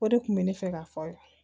O de kun bɛ ne fɛ ka fɔ